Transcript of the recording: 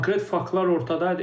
Konkret faktlar ortadadır.